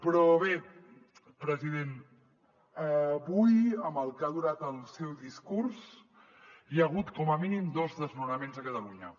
però bé president avui amb el que ha durat el seu discurs hi ha hagut com a mínim dos desnonaments a catalunya